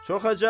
Çox əcəb.